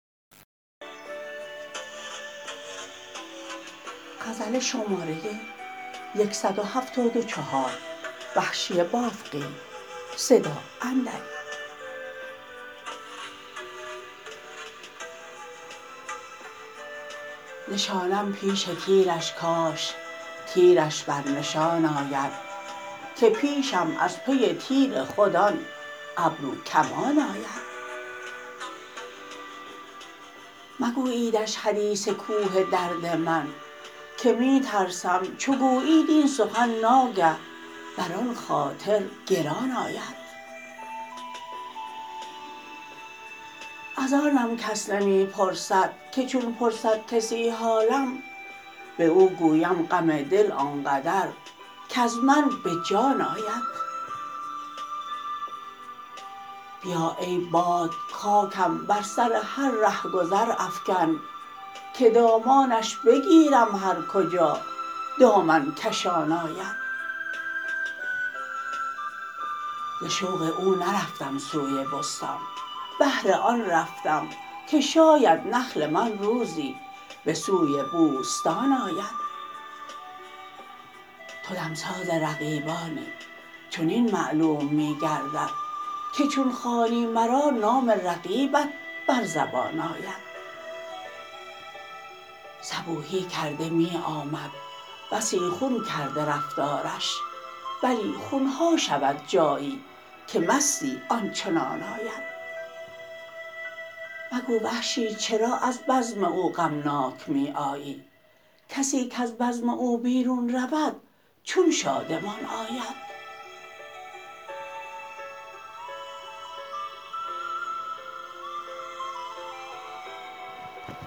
نشانم پیش تیرش کاش تیرش بر نشان آید که پیشم از پی تیر خود آن ابرو کمان آید مگوییدش حدیث کوه درد من که می ترسم چو گویید این سخن ناگه برآن خاطر گران آید از آنم کس نمی پرسد که چون پرسد کسی حالم باو گویم غم دل آنقدر کز من به جان آید بیا ای باد خاکم بر سر هر رهگذر افکن که دامانش بگیرم هر کجا دامن کشان آید ز شوق او نرفتم سوی بستان بهر آن رفتم که شاید نخل من روزی به سوی بوستان آید تو دمساز رقیبانی چنین معلوم می گردد که چون خوانی مرا نام رقیبت بر زبان آید صبوحی کرده میامد بسی خون کرده رفتارش بلی خونها شود جایی که مستی آنچنان آید مگو وحشی چرا از بزم او غمناک می آیی کسی کز بزم او بیرون رود چون شادمان آید